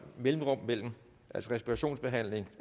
mellemrum mellem respirationsbehandling